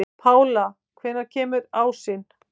Pála, hvenær kemur ásinn?